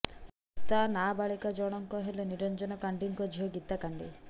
ମୃତା ନାବାଳିକା ଜଣଙ୍କ ହେଲେ ନିରଞ୍ଜନ କାଣ୍ଡି ଙ୍କ ଝିଅ ଗୀତା କାଣ୍ଡି